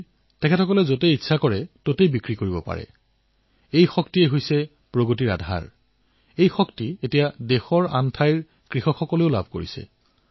জানে নে এই কৃষকসকলৰ ওচৰত কি আছে তেওঁলোকৰ ওচৰত নিজৰ ফল শাকপাচলি যিকোনো স্থানত যাকেতাকে বিক্ৰী শক্তি আছে